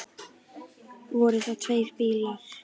Voru það tveir bílar.